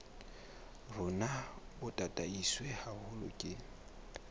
rona bo tataiswe haholo ke